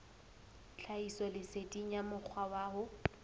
tlhahisoleseding ya mokgwa wa ho